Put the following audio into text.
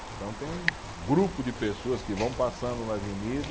Então tem um grupo de pessoas que vão passando na avenida